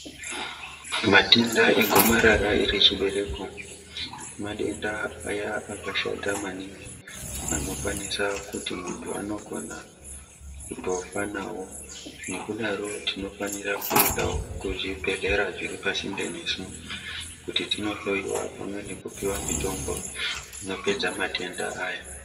Matenda egomarara rechiberko madenda aya akashata maningi anokwanisa kuti munhu anogona kutofa nawo, nekudaro tinofanire kuendawo kuzvibhehlera zviri pasinde nesu kuti tinohloyiwa pamwe nekupiwa mitombo inopedza matenda aya.